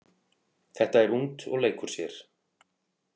Þetta er ungt og leikur sér.